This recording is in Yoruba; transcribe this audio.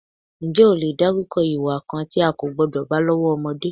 Ǹjẹ́ o lè dárúkọ ìwà kan tí a kò gbọ́dọ̀ bá lọ́wọ́ ọmọdé?